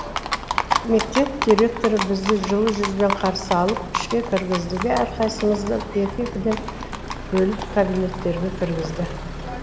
мектеп директоры бізді жылы жүзбен қарсы алып ішке кіргізді де әрқайсысымызды екі екіден бөліп кабинеттерге кіргізді